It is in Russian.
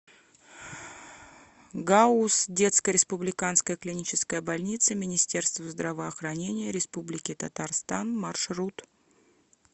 гауз детская республиканская клиническая больница министерства здравоохранения республики татарстан маршрут